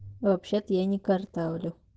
вообще-то я не картавлю